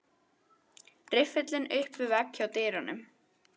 Riffillinn upp við vegg hjá dyrunum.